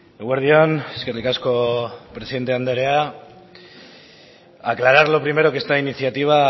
eguerdi on eskerrik asko presidente andrea aclarar lo primero que esta iniciativa